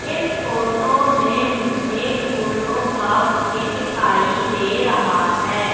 इस फोटो में मुझे फूलों का बुके दिखाई दे रहा है।